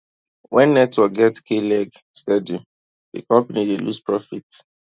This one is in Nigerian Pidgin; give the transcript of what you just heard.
when network get kleg steady di company dey lose profit